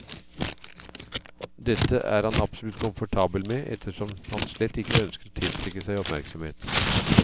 Dette er han absolutt komfortabel med ettersom han slett ikke ønsker å tiltrekke seg oppmerksomhet.